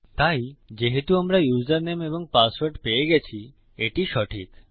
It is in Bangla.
তাই যেহেতু আমরা ইউসারনেম এবং পাসওয়ার্ড পেয়ে গেছি এটি সঠিক